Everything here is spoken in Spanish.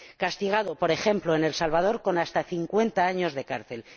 castigado, por ejemplo, en El Salvador con hasta 50 años de cárcel.